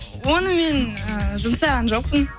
оны мен ііі жұмсаған жоқпын